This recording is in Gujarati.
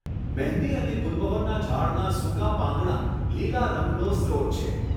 મહેંદી અને ગુલમહોરના ઝાડનાં સૂકાં પાંદડાં લીલા રંગનો સ્ત્રોત છે.